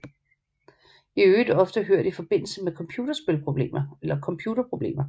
I øvrigt ofte hørt i forbindelse med computerproblemer